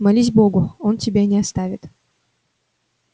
молись богу он тебя не оставит